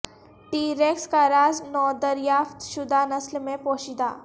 T rex کا راز نودریافت شدہ نسل میں پوشیدہ